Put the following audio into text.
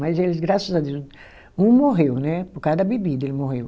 Mas eles, graças a Deus, um morreu, né, por causa da bebida ele morreu.